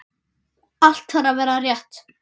Allt þarf að vera rétt.